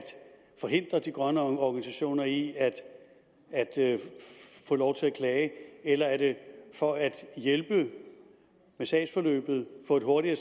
forhindre de grønne organisationer i at få lov til at klage eller er det for at hjælpe med sagsforløbet få et hurtigere